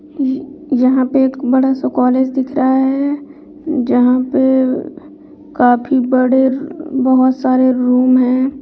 इ यहाँ पे एक बड़ा-सा कॉलेज दिख रहा है जहां पे काफी बड़े बहोत सारे रूम है।